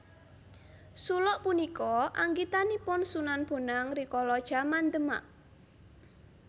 Suluk punika anggitanipun Sunan Bonang rikala jaman Demak